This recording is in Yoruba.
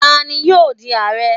tanni yoo di Aare?